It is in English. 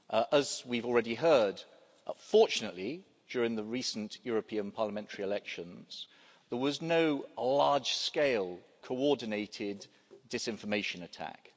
As we've already heard, fortunately during the recent European parliamentary elections, there was no large scale, coordinated disinformation attack.